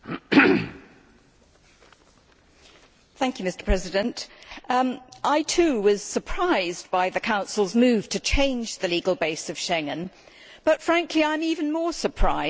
Mr President, I too was surprised by the Council's move to change the legal base of Schengen, but I am even more surprised by colleagues' reactions here today.